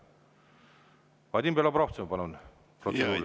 Vadim Belobrovtsev, palun, protseduuriline küsimus.